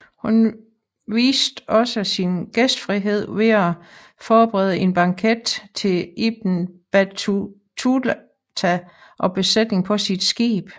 Hun viste også sin gæstfrihed ved at forberede en banket til Ibn Battuta og besætningen på sit skib